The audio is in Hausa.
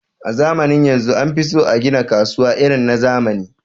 a zamanin yanzu anfiso agina kasuwa irin na zamani